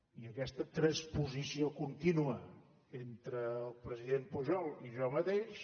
i aquesta transposició contínua entre el president pujol i jo mateix